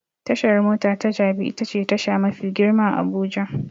Tashar mota ta Jabi itace tasha mafi girma a Abuja.